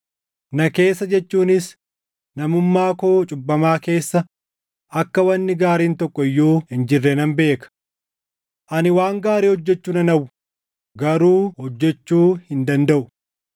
Na keessa jechuunis namummaa koo cubbamaa keessa akka wanni gaariin tokko iyyuu hin jirre nan beeka. Ani waan gaarii hojjechuu nan hawwa; garuu hojjechuu hin dandaʼu.